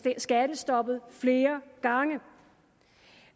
skattestoppet flere gange